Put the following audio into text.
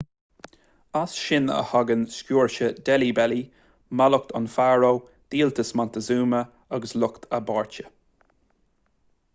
as sin a thagann sciúrse deilí belly mallacht an fharó díoltas montezuma agus lucht a bpáirte